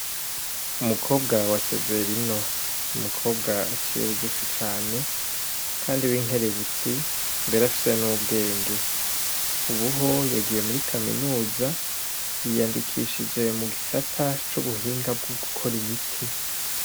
Umukobwa wa Severino, n'umukobwa aciye bugufi cane kandi w'inkerebutsi mbere afise n'ubwenge, ubu ho yagiye muri kaminuza yiyandikishije mu gisata c'ubuhinga bwo gukora imiti.